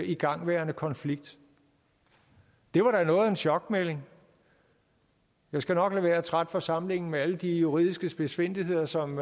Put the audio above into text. igangværende konflikt det var da noget af en chokmelding jeg skal nok lade være at trætte forsamlingen med alle de juridiske spidsfindigheder som